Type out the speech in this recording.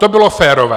To bylo férové.